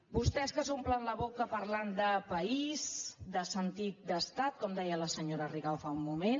vostès que s’omplen la boca parlant de país de sentit d’estat com deia la senyora rigau fa un moment